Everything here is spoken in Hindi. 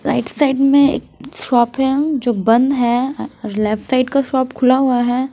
राइट साइड में एक शॉप है जो बंद है लेफ्ट साइड का शॉप खुला हुआ है।